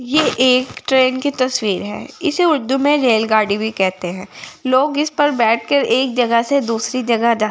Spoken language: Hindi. एक ट्रेन की तस्वीर है इसे उर्दू में रेलगाड़ी भी कहते हैं लोग इस पर बैठकर एक जगह से दूसरी जगह जाते हैं।